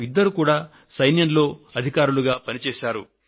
వీరు ఇరువురు కూడా సైన్యంలో అధికారులుగా సేవలు అందించారు